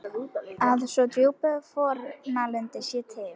Að svo djúp fórnarlund sé til?